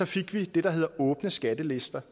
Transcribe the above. fik vi det der hedder åbne skattelister